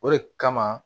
O de kama